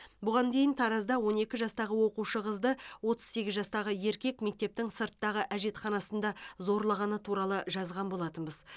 бұған дейін таразда он екі жастағы оқушы қызды отыз сегіз жастағы еркек мектептің сырттағы әжетханасында зорлағаны туралы жазған болатынбыз